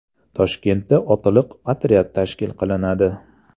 Toshkentda otliq otryad tashkil qilinadi .